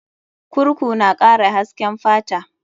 Kurku na kara hasken fata.